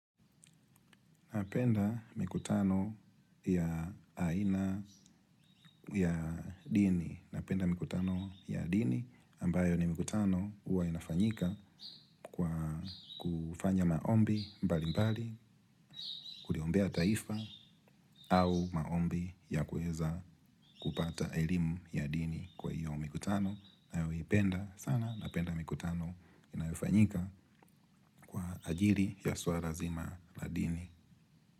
Napenda mikutano ya aina ya dini, napenda mikutano ya dini, ambayo ni mikutano huwa inafanyika kwa kufanya maombi mbalimbali, kuliombea taifa au maombi ya kuweza kupata elimu ya dini kwa hiyo mikutano. Ninayoipenda sana, napenda mikutano inayofanyika kwa ajili ya suala zima la dini.